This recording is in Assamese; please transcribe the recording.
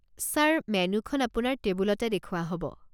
ছাৰ, মেন্যুখন আপোনাৰ টেবুলতে দেখুওৱা হ'ব।